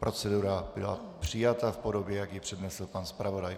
Procedura byla přijata v podobě, jak ji přednesl pan zpravodaj.